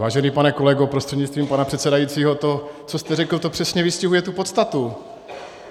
Vážený pane kolego prostřednictvím pana předsedajícího, to, co jste řekl, to přesně vystihuje tu podstatu.